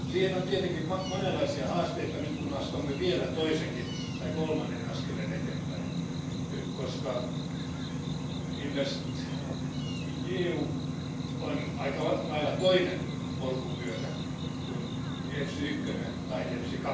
On tietenkin monenlaisia haasteita, nyt kun astumme vielä toisen tai kolmannen askeleen eteenpäin, koska InvestEU on aika lailla toinen polkupyörä kuin EFSI 1 tai EFSI